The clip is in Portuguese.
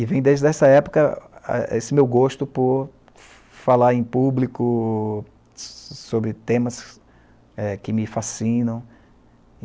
E vem desde essa época esse meu gosto por falar em público sobre temas é, que me fascinam.